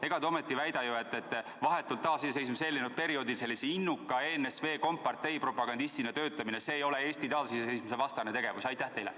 Ega te ju ometi ei väida, et vahetult taasiseseisvumisele eelnenud perioodil sellise innuka ENSV kompartei propagandistina töötamine ei ole Eesti taasiseseisvuse vastane tegevus?